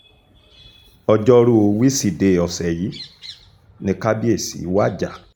ọjọ́rùú wísidee ọ̀sẹ̀ yìí ni kábíyèsí wajà